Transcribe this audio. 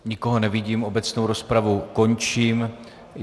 Nikoho nevidím, obecnou rozpravu končím.